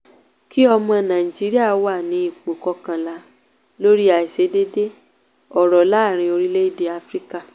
kí o mọ̀ nàìjíríà wà ní ipò kọkànlá lórí àìsedéédéé ọrọ̀ láàárín orílẹ̀ èdè áfíríkà.